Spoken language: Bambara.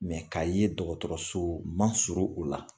ka ye dɔgɔtɔrɔso man surun u la